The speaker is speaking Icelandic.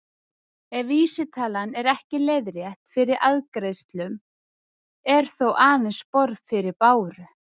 Ef vísitalan er ekki leiðrétt fyrir arðgreiðslum er þó aðeins borð fyrir báru.